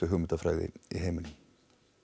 hugmyndafræði í heiminum